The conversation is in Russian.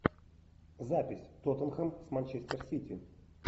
запись тоттенхэм с манчестер сити